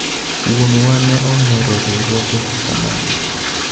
wuonwa ne ohero riwruoge kaka magi